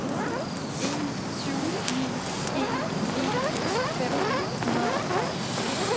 en syv ni en enogfirs fem hundrede og tredive